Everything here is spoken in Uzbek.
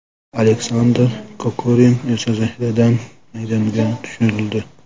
Aleksandr Kokorin esa zaxiradan maydonga tushirildi.